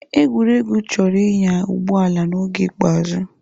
Egwurugwu chọrọ ịnya ụgbọ ala n'oge ikpeazụ.